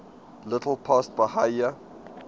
little past bahia